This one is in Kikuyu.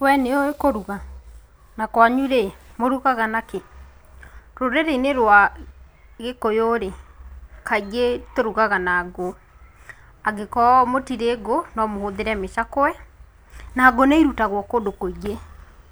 Wee nĩũĩ kũruga? Nakwanyu rĩ mũrugaga nakĩĩ? rũrĩrĩinĩ rwa gĩkũyũ rĩ kaingĩ tũrugaga na ngũ, angĩkorwo mũtirĩ ngũ nomũhũthĩre mĩcakwe, na ngũ nĩirutagwo kũndũ kwingĩ,